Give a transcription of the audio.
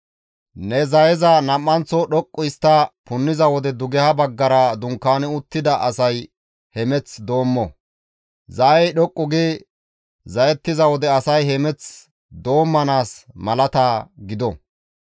Ne zayeza nam7anththo dhoqqu histta punniza wode dugeha baggara dunkaani uttida asay hemeth doommo; zayey dhoqqu gi zayetiza wode asay hemeth doommanaas malata gido.